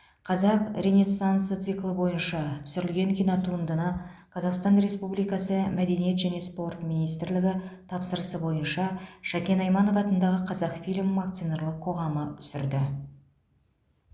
қазақ ренессансы циклы бойынша түсірілген кинотуындыны қазақстан республикасы мәдениет және спорт министрлігі тапсырысы бойынша шәкен айманов атындағы қазақфильм акционерлік қоғамы түсірді